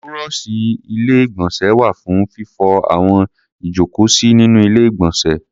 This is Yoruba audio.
Búrọ́ọ̀ṣì Ilé-ìgbọ̀nsẹ̀ wà fún fífọ àwo ìjókòósí nínú Ilé-ìgbọ̀nsẹ̀.